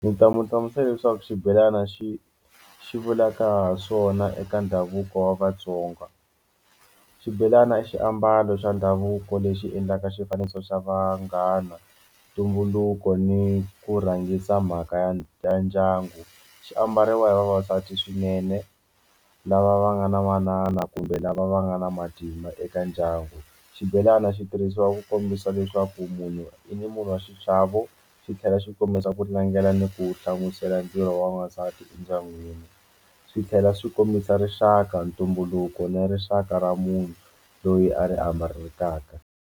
Ndzi nga mu hlamusela leswaku xibelani xi xi vulaka ha swona eka ndhavuko wa Vatsonga xibelani xiambalo xa ndhavuko lexi endlaka xifaniso xa vanghana ntumbuluko ni ku rhangisa mhaka ya ya ndyangu xi ambariwa hi vavasati swinene lava va nga na manana kumbe lava va nga na matimba eka ndyangu xibelani xi tirhisiwa ku kombisa leswaku munhu i ni munhu wa xichavo xi tlhela xi kombisa ku langela ni ku hlamusela ndzilo wa n'wansati endyangwini swi tlhela swi kombisa rixaka ntumbuluko ni rixaka ra munhu loyi a ri .